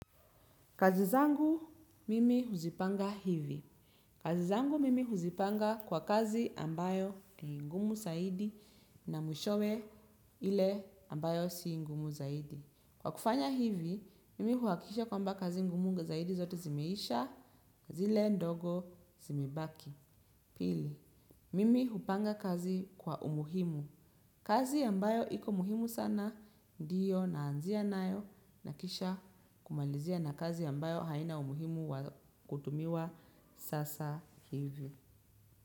Kazi zangu mimi huzipanga hivi. Kazi zangu mimi huzipanga kwa kazi ambayo ni ngumu zaidi na mwishowe ile ambayo si ngumu zaidi. Kwa kufanya hivi, mimi huakikisha kwamba kazi ngumu zaidi zote zimeisha, kazi ile ndogo zimebaki. Pili, mimi hupanga kazi kwa umuhimu. Kazi ambayo iko muhimu sana ndiyo naanzia nayo na kisha kumalizia na kazi ambayo haina umuhimu wa kutumiwa sasa hivyo.